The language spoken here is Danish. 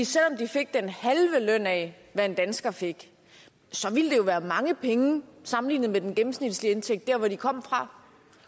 selv om de fik den halve løn af hvad en dansker fik ville det jo være mange penge sammenlignet med den gennemsnitlige indtægt der hvor de kom fra